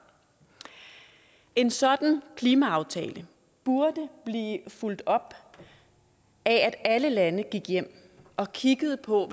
en sådan klimaaftale burde blive fulgt op af at alle lande gik hjem og kiggede på